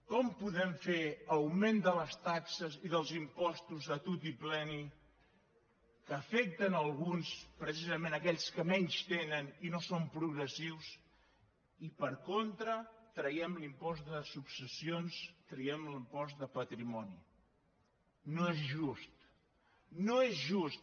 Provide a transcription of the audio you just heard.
com podem fer augment de les taxes i dels impostos a tutipleni que afecten alguns precisament aquells que menys tenen i no són progressius i per contra traiem l’impost de successions traiem l’impost de patrimoni no és just no és just